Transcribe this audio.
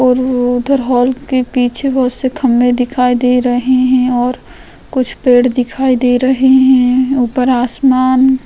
और उधर हॉल के पीछे बहुत से खंबे दिखाई दे रहे है और कुछ पेड़ दिखाई दे रहे है ऊपर आसमान --